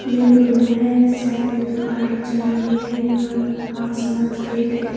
यह एक रोड है साइड में दो गाड़ियां चल रही है ऊपर आसमान सफेद है।